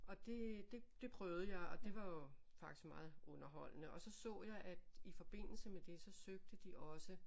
Og det det prøvede jeg og det var jo faktisk meget underholdende og så så jeg at i forbindelse med det så søgte de også